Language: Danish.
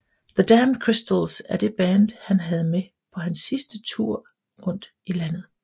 The Damn Crystals er det band han havde med på hans sidste tour rundt i landet